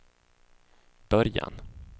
början